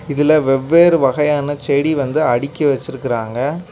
இதுல வெவ்வேறு வகையான செடி வந்து அடுக்கி வெச்சிருக்குறாங்க.